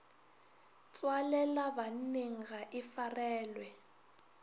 tswalela banneng ga e farelwe